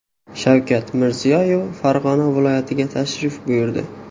Shavkat Mirziyoyev Farg‘ona viloyatiga tashrif buyurdi .